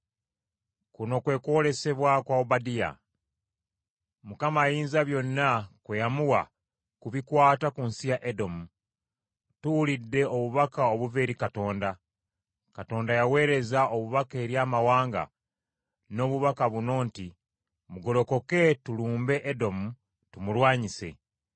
Kuno kwe kwolesebwa kwa Obadiya. Mukama Ayinzabyonna kwe yamuwa ku bikwata ku nsi ya Edomu. Tuwulidde obubaka obuva eri Katonda, Katonda yaweereza omubaka eri amawanga n’obubaka buno nti, “Mugolokoke tulumbe Edomu tumulwanyise.”